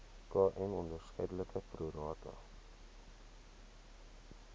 km onderskeidelik prorata